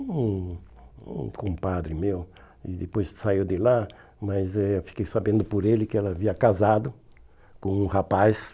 Um um compadre meu, e depois saiu de lá, mas eh fiquei sabendo por ele que ela havia casado com um rapaz.